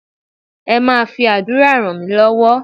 Ẹ máa fi àdúrà ràn mí lọ́wọ́